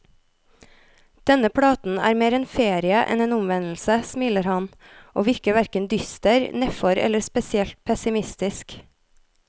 Denne platen er mer en ferie enn en omvendelse, smiler han, og virker hverken dyster, nedfor eller spesielt pessimistisk.